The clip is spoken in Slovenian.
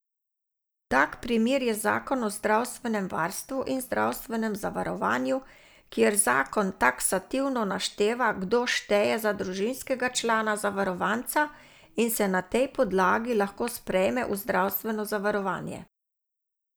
Tak primer je zakon o zdravstvenem varstvu in zdravstvenem zavarovanju, kjer zakon taksativno našteva, kdo šteje za družinskega člana zavarovanca in se na tej podlagi lahko sprejme v zdravstveno zavarovanje.